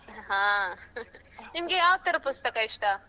ಅಹ್ ನಿಮ್ಗೆ ಯಾವ್ತರ ಪುಸ್ತಕ ಇಷ್ಟ.